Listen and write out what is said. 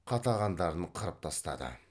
қатағандарын қырып тастады